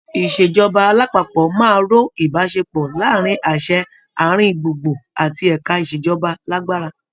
Ìṣèjọba alápapọ̀ máa ró ìbáṣepọ̀ láàrin àṣẹ àárín gbùngbùn àti ẹ̀ka ìṣèjọba lágbára.